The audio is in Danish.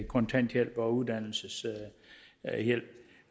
kontanthjælp og uddannelseshjælp